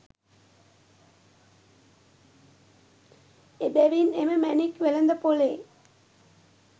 එබැවින් එම මැණික් වෙළඳපොලේ